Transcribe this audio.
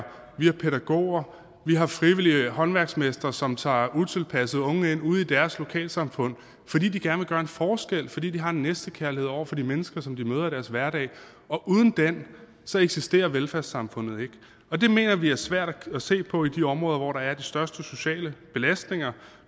vi har pædagoger at vi har frivillige håndværksmestre som tager utilpassede unge ind ude i deres lokalsamfund fordi de gerne vil gøre en forskel fordi de har en næstekærlighed over for de mennesker som de møder i deres hverdag og uden den eksisterer velfærdssamfundet ikke og det mener vi er svært at se på i de områder hvor der er de største sociale belastninger